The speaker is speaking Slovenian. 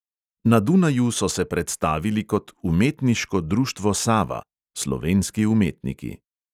Na dunaju so se predstavili kot umetniško društvo sava (slovenski umetniki).